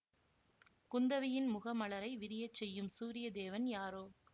குந்தவையின் முகமலரை விரியச்செய்யும் சூரியதேவன் யாரோ